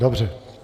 Dobře.